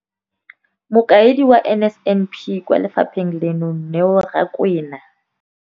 Mokaedi wa NSNP kwa lefapheng leno, Neo Rakwena,